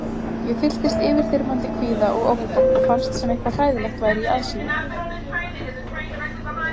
Ég fylltist yfirþyrmandi kvíða og ótta og fannst sem eitthvað hræðilegt væri í aðsigi.